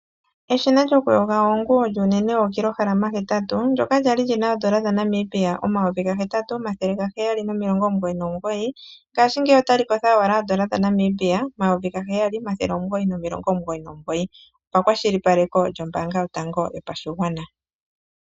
Eshina lyokuyoga oonguyo, lyuunene wookilohalama hetatu, ndyoka lyali li na oodola dhaNamibia omayovi gahetatu, omathele gaheyali nomilongo omugoyi nomugoyi, ngashingeyi otali kotha owala oodola dhaNamibia omayovi gaheyali, omathele omugoyi nomilongo omugoyi nomugoyi, opakwashilipaleko lyombaanga yotango yopashigwana.